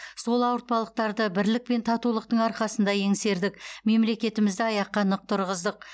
сол ауыртпалықтарды бірлік пен татулықтың арқасында еңсердік мемлекетімізді аяққа нық тұрғыздық